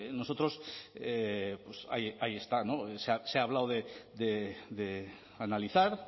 bueno pues nosotros pues ahí está se ha hablado de analizar